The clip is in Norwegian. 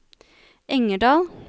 Engerdal